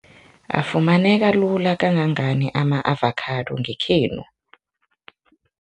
Afumaneka lula kangangani ama-avakhado ngekhenu?